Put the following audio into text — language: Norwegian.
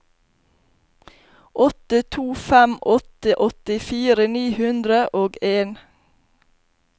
åtte to fem åtte åttifire ni hundre og en